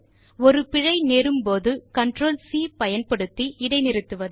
ஒரு பிழை நேரும்போது எல்டிசிடிஆர்எல்ஜிடிசி பயன் படுத்தி இடை நிறுத்துவது